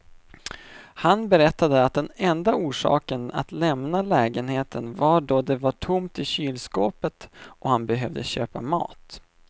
Han berättade att den enda orsaken att lämna lägenheten var då det var tomt i kylskåpet och han behövde köpa mat.